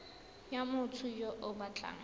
ya motho yo o batlang